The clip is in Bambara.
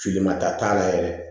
Filima ta t'a la yɛrɛ